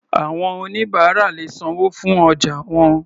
Àwọn oníbàárà lè sanwó fún ọjà wọn.